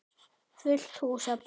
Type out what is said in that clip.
Fullt hús af börnum.